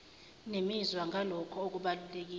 nemizwa ngalokho okubalulekile